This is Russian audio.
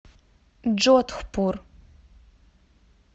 джодхпур